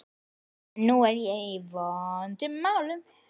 En nú er ég í vondum málum.